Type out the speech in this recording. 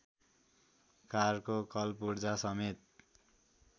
कारको कलपुर्जासमेत